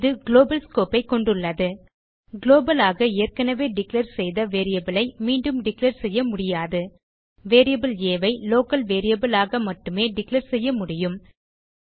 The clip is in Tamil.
இது குளோபல் ஸ்கோப் ஐ கொண்டுள்ளது குளோபல் ஆக ஏற்கனவே டிக்ளேர் செய்த வேரியபிள் ஐ மீண்டும் டிக்ளேர் செய்ய முடியாது வேரியபிள் ஆ ஐ லோக்கல் வேரியபிள் ஆக மட்டுமே டிக்ளேர் செய்ய முடியும்